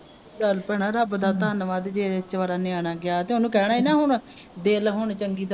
ਚੱਲ ਭੈਣਾਂ ਰੱਬ ਦਾ ਧੰਨਵਾਦ ਜੇ ਵਿਚਾਰਾ ਨਿਆਣਾ ਗਿਆ ਤੇ ਉਹਨੂੰ ਕਹਿਣਾ ਹੀ ਨਾ ਹੁਣ ਦਿਲ ਹੁਣ ਚੰਗੀ